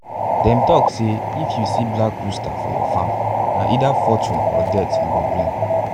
them tok say if you see black rooster for your farm na either fortune or death e go bring.